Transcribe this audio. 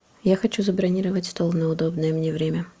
я хочу забронировать стол на удобное мне время